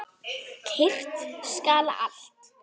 Kyrrt skal allt.